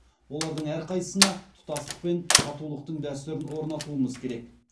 олардың әрқайсысына тұтастық пен татулықтың дәстүрін орнатуымыз керек